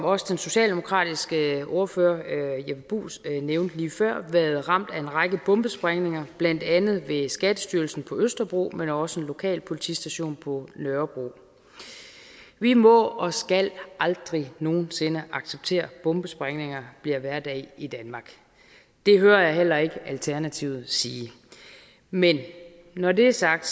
også den socialdemokratiske ordfører herre jeppe bruus nævnte lige før været ramt af en række bombesprængninger blandt andet ved skattestyrelsen på østerbro men også ved en lokal politistation på nørrebro vi må og skal aldrig nogen sinde acceptere at bombesprængninger bliver hverdag i danmark det hører jeg heller ikke alternativet sige men når det er sagt